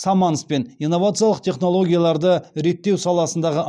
саманспен инновациялық технологияларды реттеу саласындағы